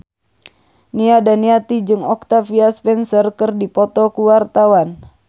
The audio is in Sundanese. Nia Daniati jeung Octavia Spencer keur dipoto ku wartawan